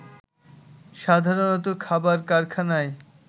সাধারণত খাবার কারখানায়